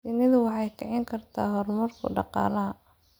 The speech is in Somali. Shinnidu waxay kicin kartaa horumarka dhaqaalaha.